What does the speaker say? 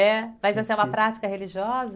É? Mas essa é uma prática religiosa?